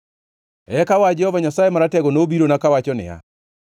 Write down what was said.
Eka wach Jehova Nyasaye Maratego nobirona, kawacho niya,